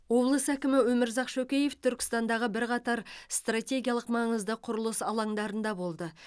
облыс әкімі өмірзақ шөкеев түркістандағы бірқатар стратегиялық маңызды құрылыс алаңдарында болды